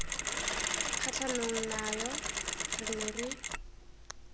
kgatlhanong nayo re ne re